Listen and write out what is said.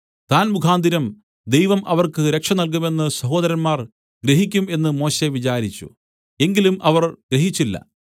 താൻ മുഖാന്തരം ദൈവം അവർക്ക് രക്ഷ നൽകുമെന്ന് സഹോദരന്മാർ ഗ്രഹിക്കും എന്ന് മോശെ വിചാരിച്ചു എങ്കിലും അവർ ഗ്രഹിച്ചില്ല